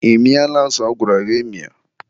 ị mịala azụ agwara gị mịa?